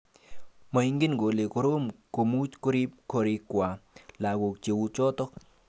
Moingen kole korom komuch Korib gorikwai lagok cheuchoto